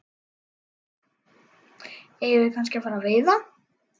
Eigum við kannski að fara að veiða?